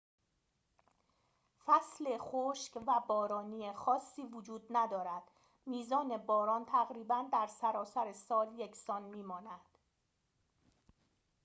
فصل خشک و بارانی خاصی وجود ندارد میزان باران تقریباً در سراسر سال یکسان می‌ماند